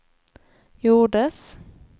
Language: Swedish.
gjordes